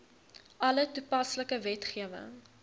alle toepaslike wetgewing